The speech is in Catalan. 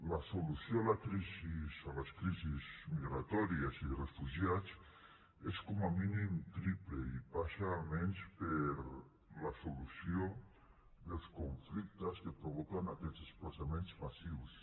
la solució a les crisis migratòries i de refugiats és com a mínim triple i passa almenys per la solució dels conflictes que provoquen aquests desplaçaments massius